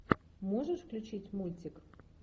можешь включить мультик